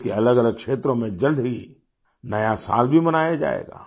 देश के अलगअलग क्षेत्रों में जल्द ही नया साल भी मनाया जाएगा